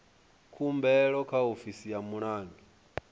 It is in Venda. khumbelo kha ofisi ya mulangi